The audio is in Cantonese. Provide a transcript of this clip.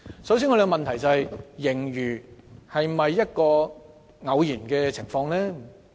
首先，我們的問題是盈餘是否一種偶然情況呢？